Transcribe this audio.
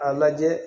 A lajɛ